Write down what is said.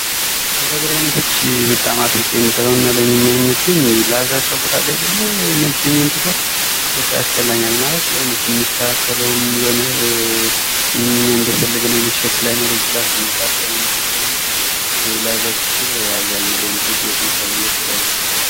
ከፀጉር አይነቶች በጣም አጥብቄ የምጠላው እና ለእኔ የማይመቸኝ ይሄ ላዛ ፀጉር አለ አይደለ ነጭም ይሁን ጥቁር ።በቃ ያስጠላኛል ማለት የሆነ ስንስተካከለውም የሆነ እኛ እንደፈለግነው አይነት ሼፕ ላይኖረው ይችላል። ስንታጠበውም ሙድ የለውም ።እና ላዛ ፀጉር አብዛኛው ለወንድ ልጅ አይመከርም ብዬ አስባለሁ።